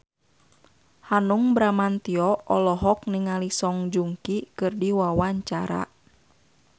Hanung Bramantyo olohok ningali Song Joong Ki keur diwawancara